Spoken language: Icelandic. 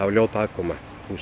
ljót aðkoma